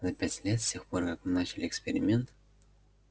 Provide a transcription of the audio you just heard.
за пять лет с тех пор как мы начали эксперимент